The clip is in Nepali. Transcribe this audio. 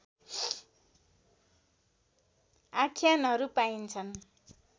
आख्यानहरू पाइन्छन्